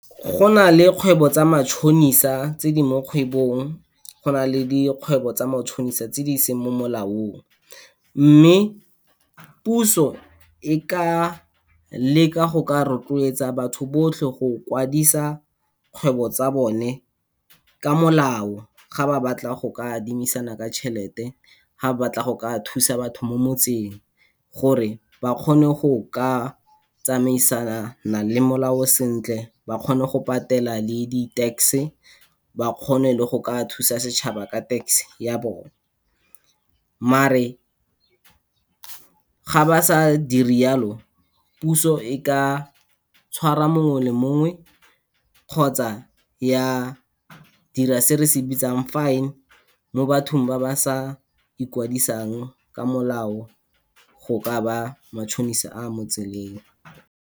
Go na le kgwebo tsa matšhonisa tse di mo kgwebong, go na le dikgwebo tsa matšhonisa tse di seng mo molaong. Mme, puso e ka leka go ka rotloetsa batho botlhe go kwadisa kgwebo tsa bone ka molao ga ba batla go ka adimisanang ka tšhelete, ga ba batla go ka thusa batho mo motseng, gore ba kgone go ka tsamaisana le molao sentle, ba kgone go patela le di-tax-e, ba kgone le go ka thusa setšhaba ka tax-e ya bone. Mare, ga ba sa dire jalo, puso e ka tshwara mongwe le mongwe kgotsa ya dira se re se bitsang fine, mo bathong ba ba sa ikwadisang ka molao go ka ba matšhonisa a mo tseleng.